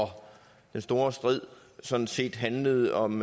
den store strid sådan set handlede om